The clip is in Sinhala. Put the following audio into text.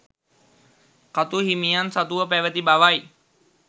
කතු හිමියන් සතුව පැවැති බවයි.